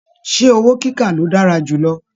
Ṣe owó kíkà lo dára jù lọ?